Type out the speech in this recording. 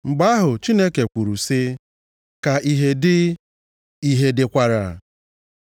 Mgbe ahụ Chineke kwuru sị, “Ka ìhè dị,” ìhè dịkwara.